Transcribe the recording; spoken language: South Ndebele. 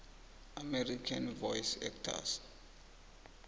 american voice actors